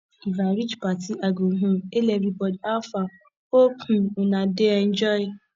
if i reach party i go um hail everybody how far hope um una dey enjoy